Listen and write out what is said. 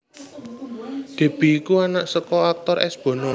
Deby iku anak saka aktor S Bono